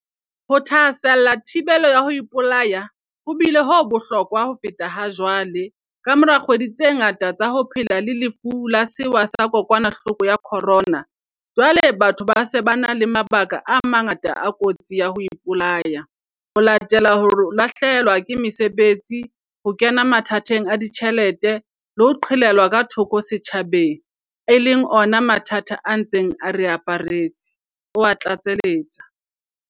Ho thahasella thibelo ya ho ipolaya ho bile ho bohlokwa ho feta hajwale, kamora dikgwedi tse ngata tsa ho phela le Lefu la Sewa sa Kokwanahloko ya Corona, jwale batho ba se ba na le mabaka a mangata a kotsi ya ho ipolaya, ho latela hore ba lahlehelwe ke mesebetsi, ho kena mathateng a ditjhelete le ho qhelelwa ka thoko setjhabeng, e leng ona mathata a ntseng a re aparetse, o a tlatseletsa.